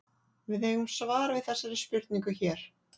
Við eigum svar við þessari spurningu hér.